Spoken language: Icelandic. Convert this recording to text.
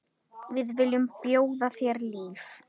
Við viljum bjóða þér líf.